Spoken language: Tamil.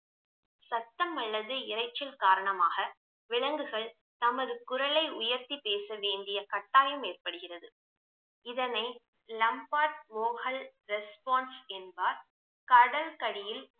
சத்தம் அல்லது இரைச்சல் காரணமாக விலங்குகள் தமது குரலை உயர்த்தி பேச வேண்டிய கட்டாயம் ஏற்படுகிறது இதனை lombard vocal response என்பார் கடலுக்கடியில்